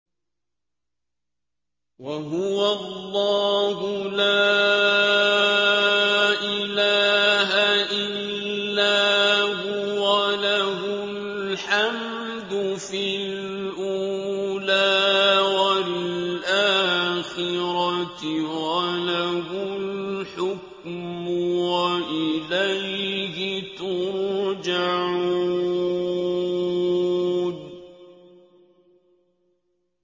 وَهُوَ اللَّهُ لَا إِلَٰهَ إِلَّا هُوَ ۖ لَهُ الْحَمْدُ فِي الْأُولَىٰ وَالْآخِرَةِ ۖ وَلَهُ الْحُكْمُ وَإِلَيْهِ تُرْجَعُونَ